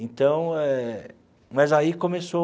Então eh, mas aí começou...